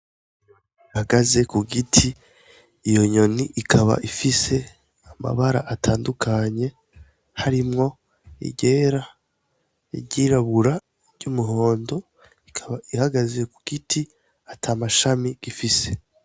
Inyoni ihagaze ku giti, iyo nyoni ikaba ifise amabara atandukanye harimwo iryera, iry'irabura, iry'umuhondo, ikaba ihagaze ku giti ata mashami gifise.